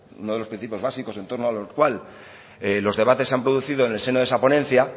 uno de los principios básicos en torno al cual los debates se han producido en el seno de esa ponencia